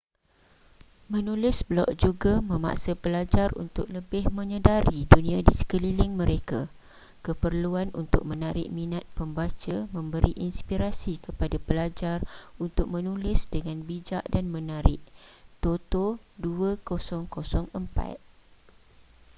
menulis blog juga memaksa pelajar untuk lebih menyedari dunia di sekeliling mereka.” keperluan untuk menarik minat pembaca memberi inspirasi kepada pelajar untuk menulis dengan bijak dan menarik toto 2004